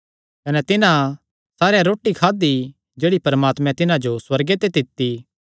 कने तिन्हां सारेयां रोटी खादी जेह्ड़ी परमात्मैं तिन्हां जो सुअर्गे ते दित्ती